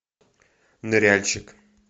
ныряльщик